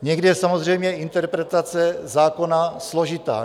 Někdy je samozřejmě interpretace zákona složitá.